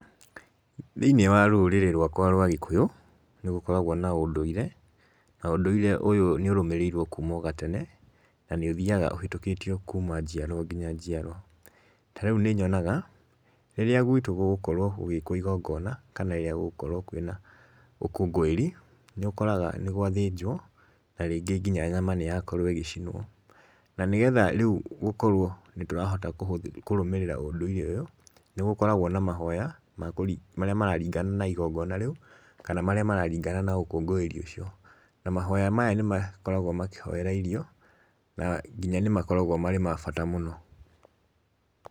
Thĩ-inĩ wa rũrĩrĩ rwakwa rwa Gĩkũyũ, nĩgũkoragwo na ũndũire, na ũndũire ũyũ nĩ ũrũmĩrĩirwo kuma o gatene, na nĩ ũthiaga ũhĩtũkĩtio kuma njiarwa nginya njiarwa. Ta rĩu nĩ nyonaga rĩrĩa gwitũ gũgũkorwo gũgĩkwo igongona, kana rĩrĩa gũgũkorwo kwĩna ũkũngũĩri, nĩũkoraga nĩgwathĩnjwo na rĩngĩ nginya nyama nĩyakorwo ĩgĩcinwo. Na nĩ getha rĩu gũkorwo ndũrahota kũrũmĩrĩra ũndũire ũyũ, nĩgũkoragwo na mahoya marĩa mararingana na igongona rĩu kana marĩa mararingana na ũkũngũĩri ũcio. Na mahoya maya nĩmakoragwo makĩhoera irio na nginya nĩmakoragwo marĩ ma bata mũno.